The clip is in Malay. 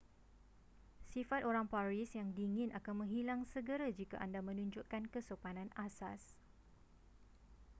sifat orang paris yang dingin akan menghilang segera jika anda menunjukkan kesopanan asas